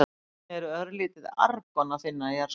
Einnig er örlítið argon að finna í jarðskorpunni.